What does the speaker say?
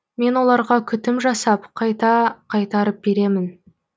мен оларға күтім жасап қайта қайтарып беремін